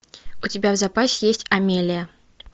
у тебя в запасе есть амелия